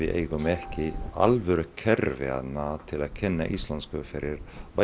eigum við ekki alvöru kerfi til að kenna íslensku fyrir